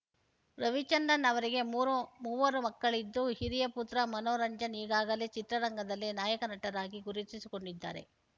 ರವಿಚಂದ್ರನ್‌ ಅವರಿಗೆ ಮೂರು ಮೂವರು ಮಕ್ಕಳಿದ್ದು ಹಿರಿಯ ಪುತ್ರ ಮನೋರಂಜನ್‌ ಈಗಾಗಲೇ ಚಿತ್ರರಂಗದಲ್ಲಿ ನಾಯಕ ನಟರಾಗಿ ಗುರುತಿಸಿಕೊಂಡಿದ್ದಾರೆ